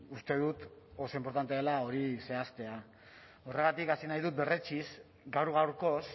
uste dut oso inportantea dela hori zehaztea horregatik hasi nahi dut berretsiz gaur gaurkoz